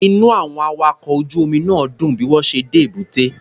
Inú àwọn awakọ̀ ojú omi náà dùn bí wọ́n ṣe dé èbúté.